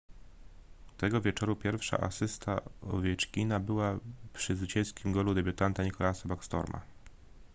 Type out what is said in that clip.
tego wieczoru pierwsza asysta owieczkina była przy zwycięskim golu debiutanta nicklasa backstroma